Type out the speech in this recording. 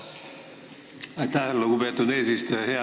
Aitäh, lugupeetud eesistuja!